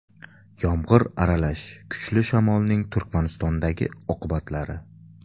Yomg‘ir aralash kuchli shamolning Turkmanistondagi oqibatlari.